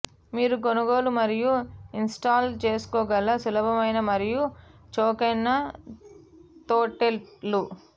మీరు కొనుగోలు మరియు ఇన్స్టాల్ చేసుకోగల సులభమైన మరియు చౌకైన తొట్టెలు